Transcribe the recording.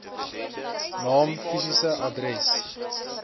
naam fisiese adres